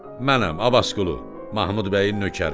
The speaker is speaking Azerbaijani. Mənəm, Abbasqulu, Mahmud bəyin nökəri.